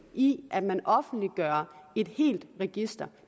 i at man offentliggør et helt register